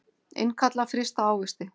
Innkalla frysta ávexti